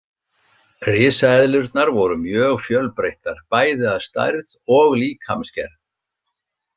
Risaeðlurnar voru mjög fjölbreyttar bæði að stærð og líkamsgerð.